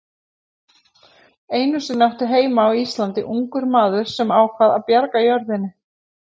Einu sinni átti heima á Íslandi ungur maður sem ákvað að bjarga jörðinni.